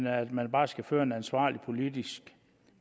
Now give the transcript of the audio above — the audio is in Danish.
at man bare skal føre en ansvarlig politik